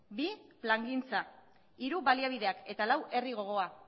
bi plangintza hiru baliabideak eta lau herri gogoa